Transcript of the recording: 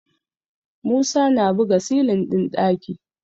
Musa na buga silin ɗin ɗaki